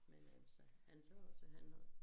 Men altså han sagde også at han havde